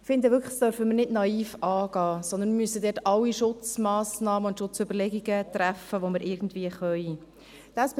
Ich finde wirklich, dass wir dies nicht naiv anpacken dürfen, sondern wir müssen dort alle Schutzmassnahmen und Schutzüberlegungen treffen, die wir irgendwie können.